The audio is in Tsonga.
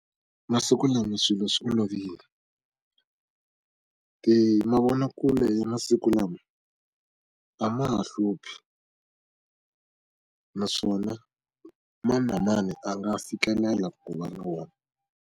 Masiku lama swilo swi olovile. mavonakule ya masiku lama a ma ha hluphi naswona mani na mani a nga fikelela ku va na wona.